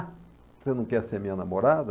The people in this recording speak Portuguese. Você não quer ser minha namorada?